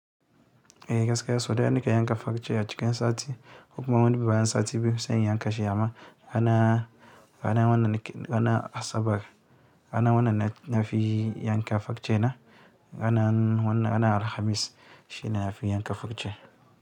Eh gaskiya so ɗaya nake yanka farshe a cikin sati ko kuma wani bayan sati biyu sai in yanka shi amma rana ranan wannan nake ranan asabar ranan wannan na nafi yanka farshena ranan alhamis shi ne na fi yanka fakce.